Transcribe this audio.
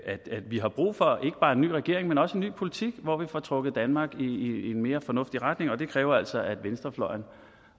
vi har brug for ikke bare en ny regering men også en ny politik hvor vi får trukket danmark i en mere fornuftig retning og det kræver altså at venstrefløjen